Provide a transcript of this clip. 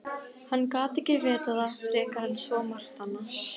Hann gat ekki vitað það frekar en svo margt annað.